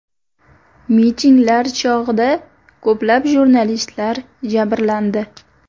Mitinglar chog‘ida ko‘plab jurnalistlar jabrlandi .